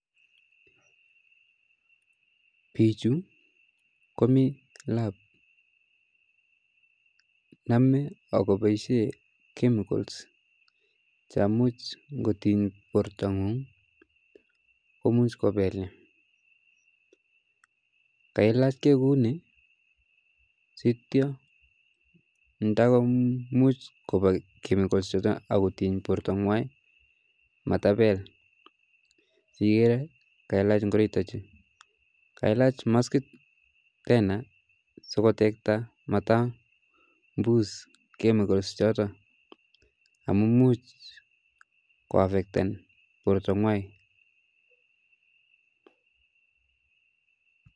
Pichu komi lab, nome ako paishe chemical chamuch ngoting porto ngun komuch kopel, kailachke kuuni siito ndamuch kopa chemicals chuto akoting porto ngwai matapel, siiker kailach ngoroik chutachu, kailach maskit tena sikotekta mata mbus chemicals choto amu muj ko afekten porto ngwai